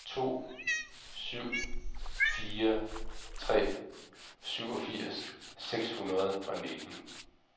to syv fire tre syvogfirs seks hundrede og nitten